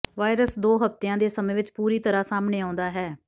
virus ਦੋ ਹਫ਼ਤਿਆਂ ਦੇ ਸਮੇਂ ਵਿੱਚ ਪੂਰੀ ਤਰ੍ਹਾਂ ਸਾਹਮਣੇ ਆਉਂਦਾ ਹੈ